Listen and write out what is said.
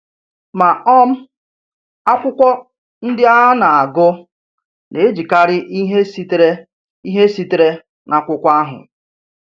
Ma, um akwụkwọ ndị a na-agụ na-ejikarị ihe sitere ihe sitere n’akwụkwọ ahụ.